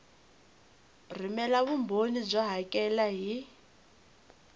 rhumela vumbhoni byo hakela hi